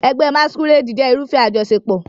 Ẹgbẹ́ Masquerade jẹ́ irúfẹ́ àjọṣepọ̀.